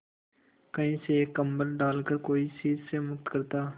कहीं से एक कंबल डालकर कोई शीत से मुक्त करता